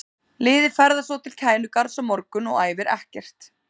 Liðið ferðast svo til Kænugarðs á morgun og æfir ekkert.